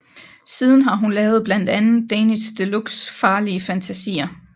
Siden har hun lavet blandt andet Danish Deluxe Farlige Fantasier